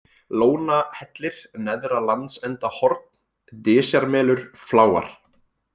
Lónahellir, Neðra-Landsendahorn, Dysjarmelur, Fláar